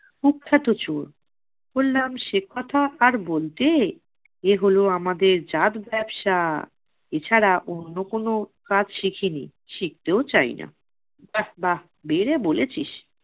কুখ্যাত চোর। বললাম সেকথা আর বলতে, এহল আমাদের জাত ব্যবসা। এছাড়া অন্য কোনো কাজ শিখি নি, শিখতেও চাই না। বাহ্ বাহ্, বেড়ে বলেছিস